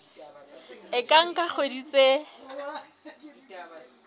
e ka nka dikgwedi tse